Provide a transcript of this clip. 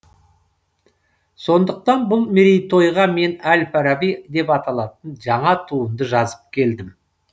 сондықтан бұл мерейтойға мен әл фараби деп аталатын жаңа туынды жазып келдім